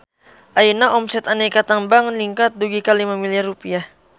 Ayeuna omset Aneka Tambang ningkat dugi ka 5 miliar rupiah